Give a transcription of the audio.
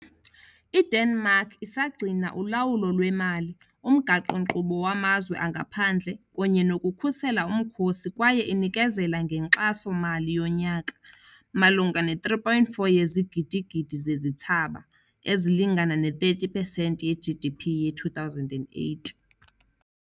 IDenmark isagcina ulawulo lwemali, umgaqo-nkqubo wamazwe angaphandle kunye nokukhusela umkhosi kwaye inikezela ngenkxaso-mali yonyaka, malunga ne-3.4 yezigidigidi zezithsaba, ezilingana ne-30 pesenti ye-GDP ye-2008.